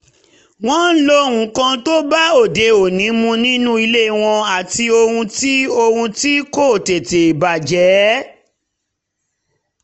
wọ́n ń lo nǹkan tó bá òde mu nínú ilé wọn àti ohun tí ohun tí kò tètè bàjẹ́